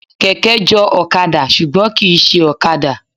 Kẹ̀kẹ́ jọ ọ̀kadà ṣùgbọ́n kìí ṣe ọ̀kadà.